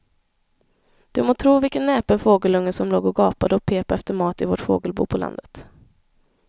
Du må tro vilken näpen fågelunge som låg och gapade och pep efter mat i vårt fågelbo på landet.